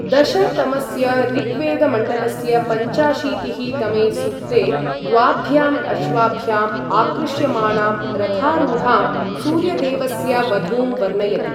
दश तमस्य ऋग्वेदमण्डलस्य पञ्चाशीतिः तमे सूक्ते द्वाभ्याम् अश्वाभ्याम् आकृष्यमाणां रथारूढां सूर्यदेवस्य वधूं वर्णयति।